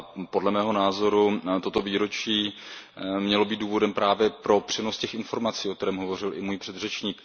Podle mého názoru toto výročí mělo být důvodem právě pro přenos těch informací, o kterém hovořil i můj předřečník.